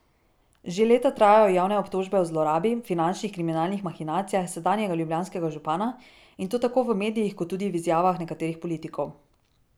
Že leta trajajo javne obtožbe o zlorabi, finančnih, kriminalnih mahinacijah sedanjega ljubljanskega župana, in to tako v medijih kot tudi v izjavah nekaterih politikov.